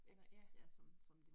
Ikk, som som det nye